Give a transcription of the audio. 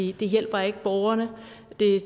ikke det hjælper ikke borgerne og